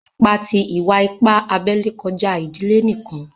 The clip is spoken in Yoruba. Ìpà tí ìwà-ìpà àbèlè kọ̀jà ìdílé níkan.